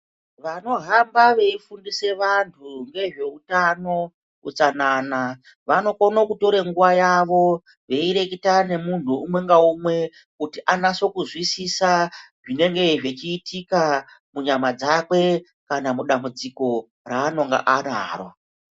Vanohamba veifundise vantu ngezveutano, utsanana vanokono kutora nguva yavo veireketana nomunhu umwe ngaumwe kuti anase kuzwisisa zvinenge zvechiitika munyana dzakwe kana mudambudziko raanonga anaro.